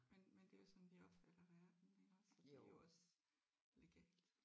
Men men det er jo sådan vi opfatter verden iggås og det er jo også legalt